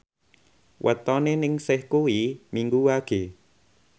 wetone Ningsih kuwi Minggu Wage